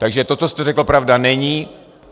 Takže to, co jste řekl, pravda není.